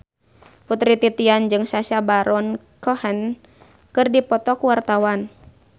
Putri Titian jeung Sacha Baron Cohen keur dipoto ku wartawan